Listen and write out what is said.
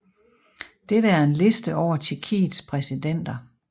Dette er en liste over Tjekkiets præsidenter